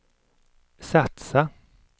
satsa